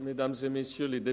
Schnegg hat das Wort.